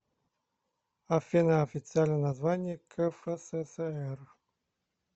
афина официальное название кфсср